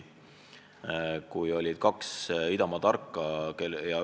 Oli kaks idamaa tarka.